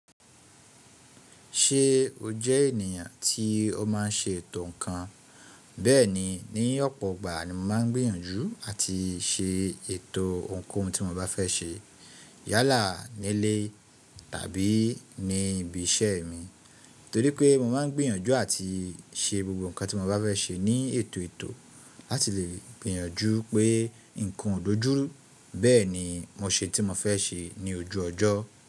Ṣé o jẹ ènìyàn tí ó máa n ṣe ètò ǹnkan? Bẹ́ẹ̀ni, ní ọ̀pọ̀ ìgbà ni mo maá n gbìyànjú àti ṣe ètò ohunkóhun tí mo bá fẹ́ ṣe yálà nílé tàbí ní ibi iṣẹ́ mi, torí pé mo má n gbìyànjú àti ṣe gbogbo nǹkan tí mo bá fẹ́ ṣe ní ètò ètò láti lè gbìyànjú pé nǹkan ò dójúru. Bẹ́ẹ̀ni, mo ṣe tí mo fẹ́ ṣe ní ojú ọjọ́.